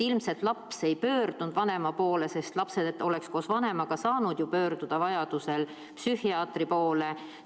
Ilmselt laps ei pöördunud vanema poole, sest koos vanemaga oleks ta saanud ju vajaduse korral pöörduda psühhiaatri poole.